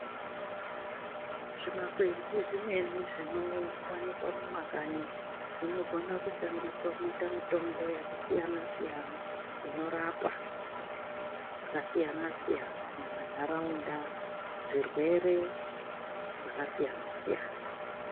Zvimakwenzi zvimweni zvinowanikwa mumakanyi zvinogona kushandiswa kuita mutombo yakasiyana siyana, inorapa zvakasiyana,-siyana muntaraunda zvirwere zvakasiyana -siyana.